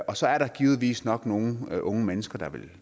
og så er der givetvis nok nogle unge mennesker der vil